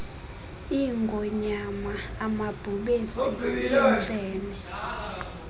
iingonyama amabhubesi iimfene